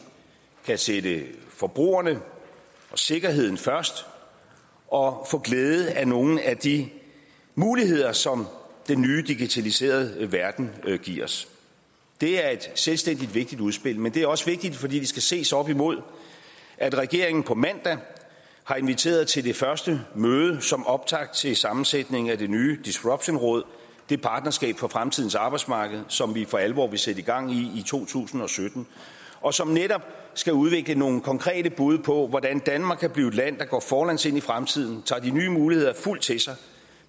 kan sætte forbrugerne og sikkerheden først og få glæde af nogle af de muligheder som den nye digitaliserede verden giver os det er et selvstændigt vigtigt udspil men det er også vigtigt fordi det skal ses op imod at regeringen på mandag har inviteret til det første møde som optakt til sammensætning af det nye disruptionsråd det partnerskab for fremtidens arbejdsmarked som vi for alvor vil sætte gang i i to tusind og sytten og som netop skal udvikle nogle konkrete bud på hvordan danmark kan blive et land der går forlæns ind i fremtiden tager de nye muligheder fuldt til sig